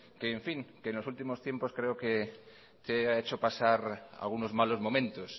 que en los últimos tiempos creo que te ha hecho pasar algunos malos momento